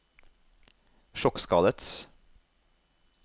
sjokkskadet